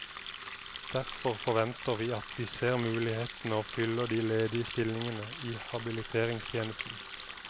Derfor forventer vi at de ser mulighetene og fyller de ledige stillingene i habiliteringstjenesten.